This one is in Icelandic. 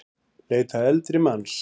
Leita eldri manns